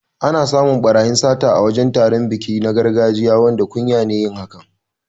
Ana samun ɓarayi masu sata a wajan taron biki na gargajiya, wanda kunya ne yin hakan